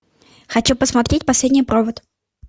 хочу посмотреть последний провод